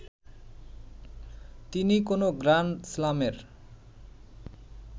তিনি কোনো গ্র্যান্ডস্লামের